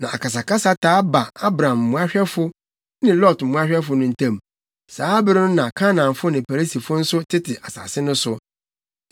Na akasakasa taa baa Abram mmoahwɛfo ne Lot mmoahwɛfo no ntam. Saa bere no na Kanaanfo ne Perisifo nso tete asase no so.